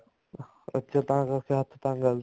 ਅੱਛਾ ਤਾਂ ਕਰਕੇ ਹੱਥ ਤੰਗ ਹੈ